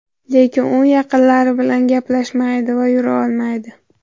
Lekin u yaqinlari bilan gaplashmaydi va yura olmaydi.